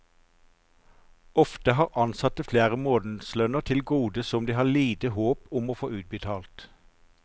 Ofte har ansatte flere månedslønner til gode som de har lite håp om å få utbetalt.